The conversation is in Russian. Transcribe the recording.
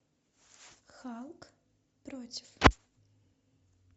халк против